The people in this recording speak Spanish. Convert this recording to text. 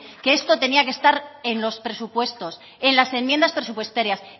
que esto tenía que estar en los presupuestos en las enmiendas presupuestarias